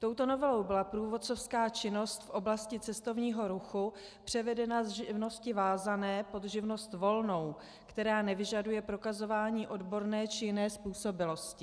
Touto novelou byla průvodcovská činnost v oblasti cestovního ruchu převedena z živnosti vázané pod živnost volnou, která nevyžaduje prokazování odborné či jiné způsobilosti.